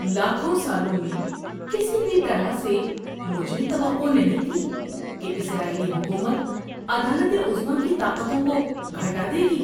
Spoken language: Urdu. لاکھوں سالوں میں کسی بھی طرح سے مجھے توقع نہیں تھی کہ اسرائیلی حکومت عدالت عظمیٰ کی طاقتوں کو گھٹا دے گی۔